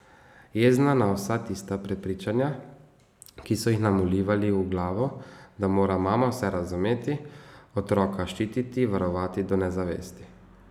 Jezna na vsa tista prepričanja, ki so jih nam vlivali v glavo, da mora mama vse razumeti, otroka ščititi, varovati do nezavesti.